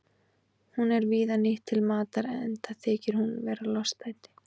Hún er víða nýtt til matar enda þykir hún vera lostæti.